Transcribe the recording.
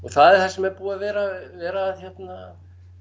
það sem er búið að vera vera hérna